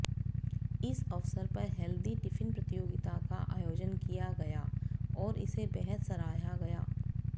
इस अवसर पर हेल्दी टिफिन प्रतियोगिता का आयोजन किया गया और इसे बेहद सराहा गया